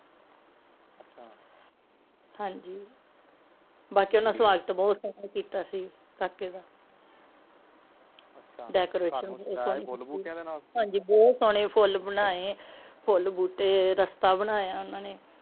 ਹਾਂਜੀ ਬਾਕੀ ਓਹਨਾ ਸਵਾਗਤ ਬਹੁਤ ਸੋਹਣਾ ਕੀਤਾ ਸੀ ਕਾਕੇ ਦਾ ਅੱਛਾ decoration ਕੀਤੀ ਸੀ ਅੱਛਾ ਉਹ ਜੇਰੇ ਫੁੱਲ ਬੂਟਿਆਂ ਦੇ ਨਾਲ ਹਾਂਜੀ ਬਹੁਤ ਸੋਹਣੇ ਬਣਾਏ ਫੋਲ ਬੂਟੇ ਗੁਲਦਸਤਾ ਬਣਾਇਆ ਇਹਨਾਂ ਨੇ